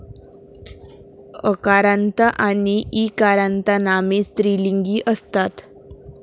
अकारान्त आणि ई कारांतनामे स्त्रीलिंगी असतात